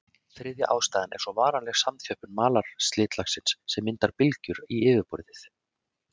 Þriðja ástæðan er svo varanleg samþjöppun malarslitlagsins sem myndar bylgjur í yfirborðið.